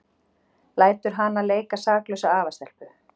Lætur hana leika saklausa afastelpu.